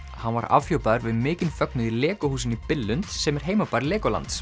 hann var afhjúpaður við mikinn fögnuð í LEGO húsinu í Billund sem er heimabær